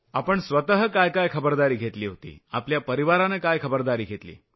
आपण स्वतः काय काय खबरदारी घेतली होती आपल्या परिवारानं काय खबरदारी घेतली